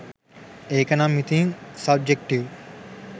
ඒකනම් ඉතින් සබ්ජෙක්ටිව්.